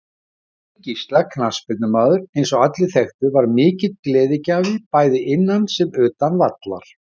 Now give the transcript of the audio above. Steini Gísla knattspyrnumaður eins og allir þekktu var mikill gleðigjafi bæði innan sem utan vallar.